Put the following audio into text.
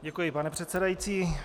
Děkuji pane předsedající.